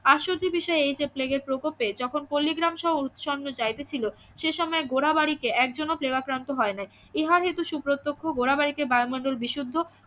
আশ্চর্যের বিষয় এই যে প্লেগের প্রকোপে যখন পল্লিগ্রামসহ উচ্ছনে যাইতেছিল সে সময় ঘোরাবাড়িতে একজনও প্লেগাক্রান্ত হয় নাই ইহার হেতু সুপ্রত্যক্ষ ঘোরাবারিতে বায়ুমন্ডল বিশুদ্ধ